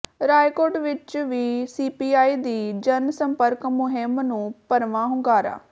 ਰਾਏਕੋਟ ਵਿੱਚ ਵੀ ਸੀਪੀਆਈ ਦੀ ਜਨਸੰਪਰਕ ਮੁਹਿੰਮ ਨੂੰ ਭਰਵਾਂ ਹੁੰਗਾਰਾ